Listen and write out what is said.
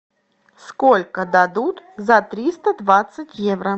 сколько дадут за триста двадцать евро